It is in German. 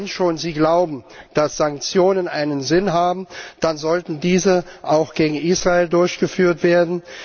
Wenn Sie schon glauben, dass Sanktionen einen Sinn haben, dann sollten diese auch gegen Israel durchgeführt werden.